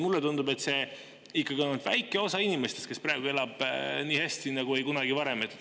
Mulle tundub, et ikkagi ainult väike osa inimestest elab praegu nii hästi nagu ei kunagi varem.